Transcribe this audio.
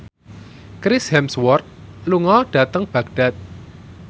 Chris Hemsworth lunga dhateng Baghdad